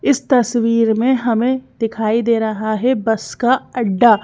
इस तस्वीर में हमें दिखाई दे रहा है बस का अड्डा --